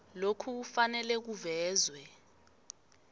lokhu kufanele kuvezwe